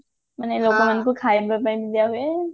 କହିବ ପାଇଁ ବି ଦିଆ ହୁଏ